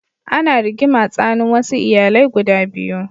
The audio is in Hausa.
Ana rigima tsanin wasu iyalai guda biyu.